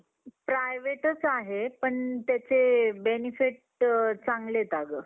cricket हा विश्वाच्या सवरात पसंदीदा खेळ आहे पसंदीदा केला जाणारा खेळ आहे